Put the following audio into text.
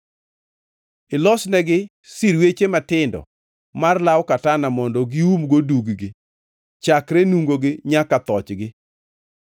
“Ilosnegi sirweche matindo mar law katana mondo giumgo dug-gi, chakre nungogi nyaka thochgi.